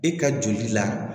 E ka joli la